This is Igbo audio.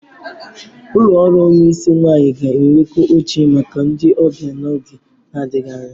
Ụlọ ọrụ onyisi nwanyi ga-enwekwu oche maka ndị ọbịa n'oge na-adịghị anya.